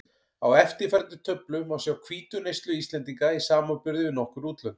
Á eftirfarandi töflu má sjá hvítuneyslu Íslendinga í samanburði við nokkur útlönd.